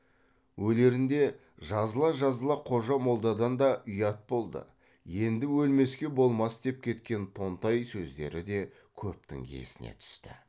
өлерінде жазыла жазыла қожа молдадан да ұят болды енді өлмеске болмас деп кеткен тонтай сөздері де көптің есіне түсті